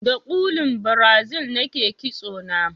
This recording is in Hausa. Da kullun Brazil nake ƙitso na